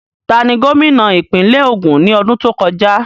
Tani gómìnà ìpínlẹ̀ Ògùn ní ọdún tó kọjá?